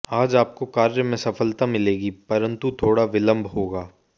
आज आपको कार्य में सफलता मिलेगी परंतु थोड़ा विलंब होगा